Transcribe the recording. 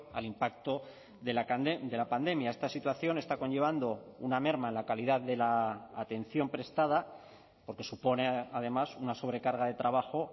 al impacto de la pandemia esta situación está conllevando una merma en la calidad de la atención prestada porque supone además una sobrecarga de trabajo